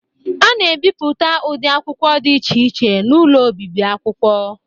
A na-ebipụta ụdị akwụkwọ di iche iche n'ụlọ obibi akwụkwọ.